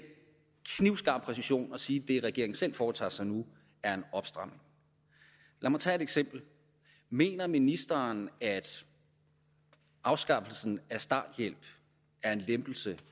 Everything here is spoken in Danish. knivskarp præcision siger det regeringen selv foretager sig nu er en opstramning lad mig tage et eksempel mener ministeren at afskaffelsen af starthjælp er en lempelse